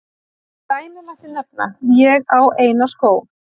Sem dæmi mætti nefna: Ég á eina skó.